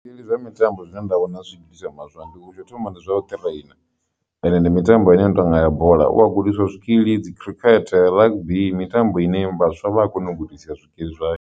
Zwikili zwa mitambo zwine nda vhona zwi gudiswa mashango tsho thoma ndi zwa u ṱhireina and ndi mitambo ine ya tonga ya bola u vha gudiswa zwikili dzi khirikhethe, rugby ndi mitambo ine i vhaswa vha kona u gudisiwa zwikili zwayo.